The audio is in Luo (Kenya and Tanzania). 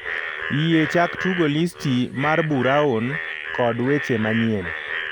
Yie chak tugo listi mar buraun kod weche manyien